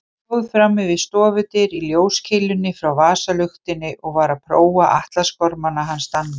Stóð frammi við stofudyr í ljóskeilunni frá vasaluktinni og var að prófa atlasgormana hans Danna.